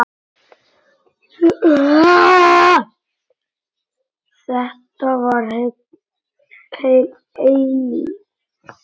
Þetta var heil eilífð.